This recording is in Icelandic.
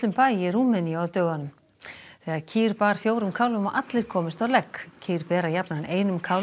bæ í Rúmeníu á dögunum þegar kýr bar fjórum kálfum og allir komust á legg kýr bera jafnan einum kálfi